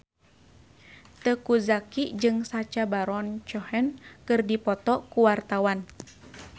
Teuku Zacky jeung Sacha Baron Cohen keur dipoto ku wartawan